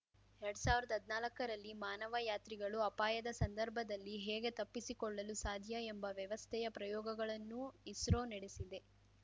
ಎರಡ್ ಸಾವ್ರ್ದ ಹದ್ನಾಲ್ಕರಲ್ಲಿ ಮಾನವ ಯಾತ್ರಿಗಳು ಅಪಾಯದ ಸಂದರ್ಭದಲ್ಲಿ ಹೇಗೆ ತಪ್ಪಿಸಿಕೊಳ್ಳಲು ಸಾಧ್ಯ ಎಂಬ ವ್ಯವಸ್ಥೆಯ ಪ್ರಯೋಗಗಳನ್ನೂ ಇಸ್ರೋ ನಡೆಸಿದೆ